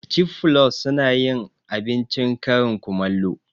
Cif flus sunayin abincin karin kumallo